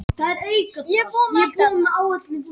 Miðja alheimsins.